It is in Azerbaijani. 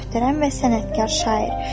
Möhtərəm və sənətkar şair.